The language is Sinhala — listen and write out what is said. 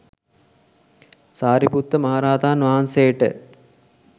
සාරිපුත්ත මහරහතන් වහන්සේට